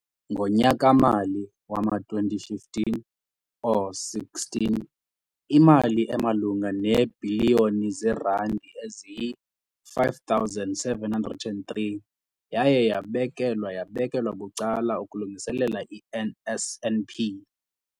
Ngonyaka-mali wama-2015 or 16, imali emalunga neebhiliyoni zeerandi eziyi-5 703 yaye yabekelwa yabekelwa bucala ukulungiselela i-NSNP.